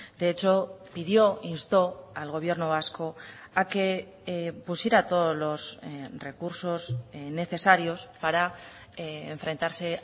de hecho pidió instó al gobierno vasco a que pusiera todos los recursos necesarios para enfrentarse